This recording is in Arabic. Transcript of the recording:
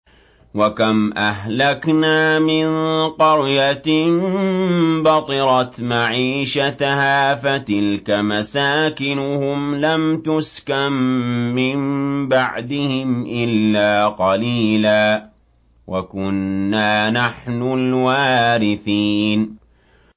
وَكَمْ أَهْلَكْنَا مِن قَرْيَةٍ بَطِرَتْ مَعِيشَتَهَا ۖ فَتِلْكَ مَسَاكِنُهُمْ لَمْ تُسْكَن مِّن بَعْدِهِمْ إِلَّا قَلِيلًا ۖ وَكُنَّا نَحْنُ الْوَارِثِينَ